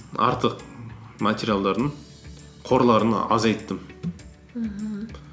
артық материалдардың қорларын азайттым мхм